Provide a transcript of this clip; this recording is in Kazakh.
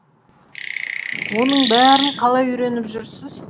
оның бәрін қалай үйреніп жүрсіз